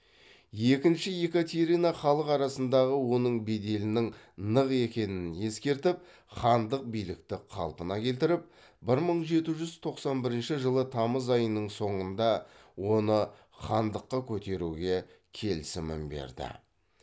екінші екатерина халық арасындағы оның беделінің нық екенін ескертіп хандық билікті қалпына келтіріп бір мың жеті жүз тоқсан бірінші жылы тамыз айының соңында оны хандыққа көтеруге келісімін берді